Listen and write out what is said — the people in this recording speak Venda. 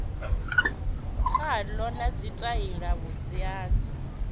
khalo na tshitaila vhunzhi hazwo